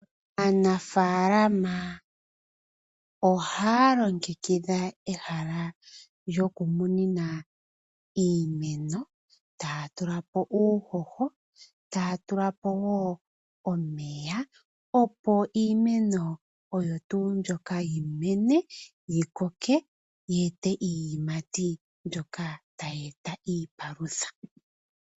Aanafaalama ohaa longekidha ehala lyoku munina iimeno, taya tula po uuhoho, taya tula po wo omeya opo iimeno oyo tuu mbyoka yi mene yi koke yeete iiyimati mbyoka tayi eta iipalutha.